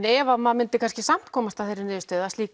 ef maður myndi samt komast að þeirri niðurstöðu að slíkt